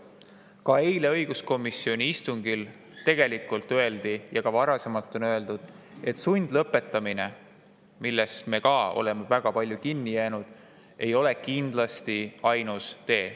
Ka eile õiguskomisjoni istungil öeldi ja tegelikult ka varasemalt on öeldud, et sundlõpetamine, millesse me oleme väga palju kinni jäänud, ei ole kindlasti ainus tee.